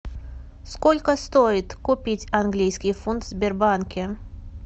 сколько стоит купить английский фунт в сбербанке